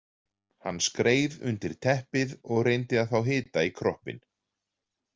Hann skreið undir teppið og reyndi að fá hita í kroppinn.